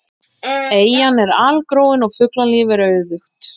Eyjan er algróin og fuglalíf er auðugt.